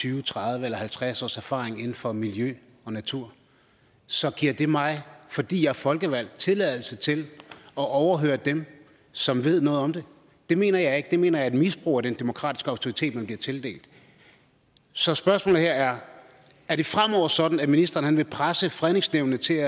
tyve tredive eller halvtreds års erfaring inden for miljø og natur så giver det mig fordi jeg er folkevalgt tilladelse til at overhøre dem som ved noget om det det mener jeg ikke det mener jeg er et misbrug af den demokratiske autoritet man bliver tildelt så spørgsmålet her er er det fremover sådan at ministeren vil presse fredningsnævnene til